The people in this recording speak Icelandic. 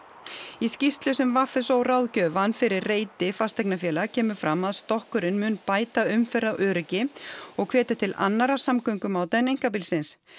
í skýrslu sem v s ó ráðgjöf vann fyrir reiti fasteignafélag kemur fram að stokkurinn mun bæta umferðaröryggi og hvetja til annarra samgöngumáta en einkabílsins